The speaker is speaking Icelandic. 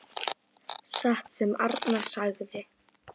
Satt sem Arnar sagði.